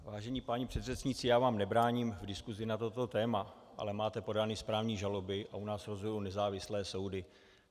Vážení páni předřečníci, já vám nebráním v diskuzi na toto téma, ale máte podány správní žaloby a u nás rozhodují nezávislé soudy.